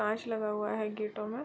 काँच लगा हुआ है गेटों में --